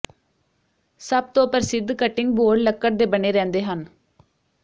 ਸਭ ਤੋ ਪ੍ਰਸਿੱਧ ਕਟਿੰਗ ਬੋਰਡ ਲੱਕੜ ਦੇ ਬਣੇ ਰਹਿੰਦੇ ਹਨ